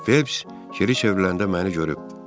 Felps geri çevriləndə məni görüb.